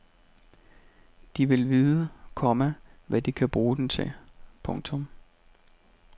De vil vide, komma hvad de kan bruge den til. punktum